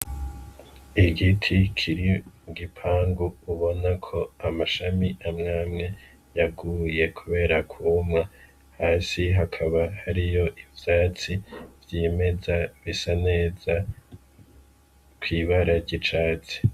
Igiti kiri mugipangu ubona ko amashami amwamwe yaguye, kubera kumwa hasi hakaba hariyo ivyatsi vy'imeza bisa neza kw'ibararya icatsi.